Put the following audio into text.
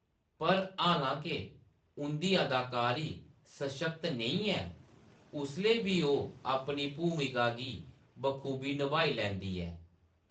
पर हालांके उंʼदी अदाकारी सशक्त नेईं ऐ, उसलै बी ओह्‌‌ अपनी भूमिका गी बखूबी नभाई लैंदी ऐ।